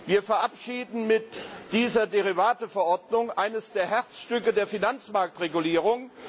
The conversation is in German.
Wir verabschieden mit dieser Derivateverordnung eines der Herzstücke der Finanzmarktregulierung.